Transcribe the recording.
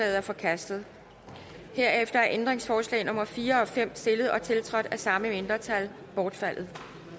er forkastet herefter er ændringsforslag nummer fire og fem stillet og tiltrådt af samme mindretal bortfaldet